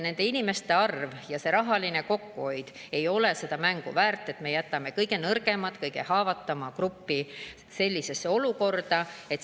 Nende inimeste arv ja see rahaline kokkuhoid ei ole väärt seda mängu, et me jätame kõige nõrgemad, kõige haavatavama grupi sellisesse olukorda.